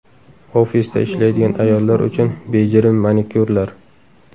Ofisda ishlaydigan ayollar uchun bejirim manikyurlar.